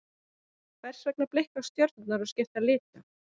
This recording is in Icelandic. Hvers vegna blikka stjörnur og skipta litum?